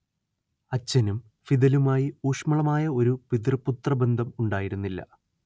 അച്ഛനും ഫിദലുമായി ഊഷ്മളമായ ഒരു പിതൃ പുത്രബന്ധം ഉണ്ടായിരുന്നില്ല